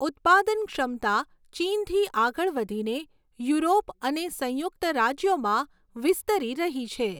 ઉત્પાદન ક્ષમતા ચીનથી આગળ વધીને યુરોપ અને સંયુક્ત રાજ્યોમાં વિસ્તરી રહી છે.